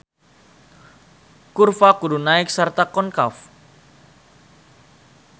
Kurva kudu naek sarta konkav.